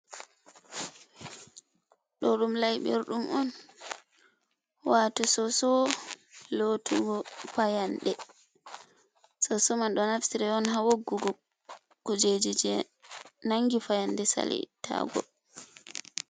Ɗo ɗum layɓirɗum on, wato soso lotugo fayannde, soso man ɗo naftire on, haa woggugo kujeji jey nanngi fayande sali ittaago.